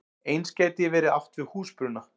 Eins gæti verið átt við húsbruna.